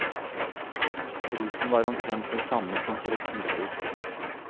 Prisen var omtrent den samme som for et husdyr.